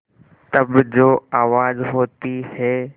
तब जो आवाज़ होती है